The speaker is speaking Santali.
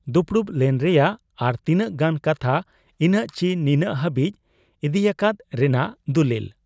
ᱫᱩᱯᱩᱲᱩᱵ ᱞᱮᱱ ᱨᱮᱭᱟᱜ ᱟᱨ ᱛᱤᱱᱟᱹᱜ ᱜᱟᱱ ᱠᱟᱛᱷᱟ ᱤᱱᱟᱹᱜ ᱪᱤ ᱱᱤᱱᱟᱹᱜ ᱦᱟᱹᱵᱤᱡ ᱤᱫᱤᱭᱟᱠᱟᱫ ᱨᱮᱱᱟᱜ ᱫᱚᱞᱤᱞ ᱾